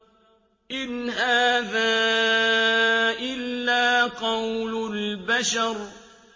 إِنْ هَٰذَا إِلَّا قَوْلُ الْبَشَرِ